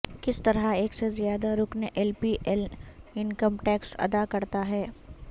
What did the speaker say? کس طرح ایک سے زیادہ رکن L P L income tax ادا کرتا ہے